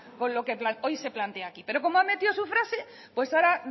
con lo que hoy se plantea aquí pero como han metido su frase pues ahora